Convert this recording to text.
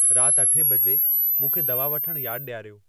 राति अठे बजे मूंखे दवा वठणु यादि ॾियारियो